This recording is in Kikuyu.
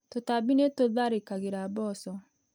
Tũtambi nĩ tũtharĩkagĩra mboco.